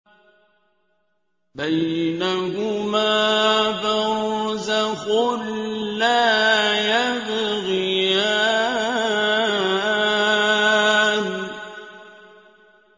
بَيْنَهُمَا بَرْزَخٌ لَّا يَبْغِيَانِ